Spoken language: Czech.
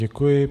Děkuji.